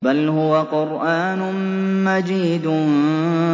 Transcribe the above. بَلْ هُوَ قُرْآنٌ مَّجِيدٌ